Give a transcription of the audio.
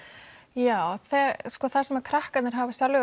já sko það sem krakkarnir hafa sjálfir